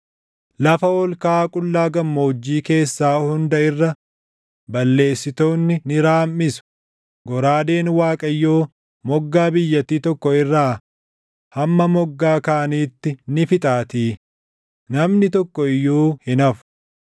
Lafa ol kaʼaa qullaa gammoojjii keessaa hunda irra balleessitoonni ni raamʼisu; goraadeen Waaqayyoo // moggaa biyyattii tokko irraa hamma moggaa kaaniitti ni fixaatii; namni tokko iyyuu hin hafu.